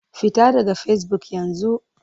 Fita daga Facebook yanzu!